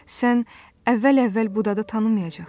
Sən əvvəl-əvvəl bu dadı tanımayacaqsan.